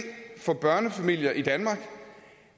for børnefamilier i danmark